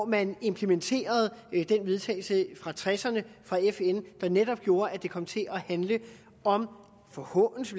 man implementerede den vedtagelse fra nitten tresserne fra fn der netop gjorde at det kom til at handle om forhånelse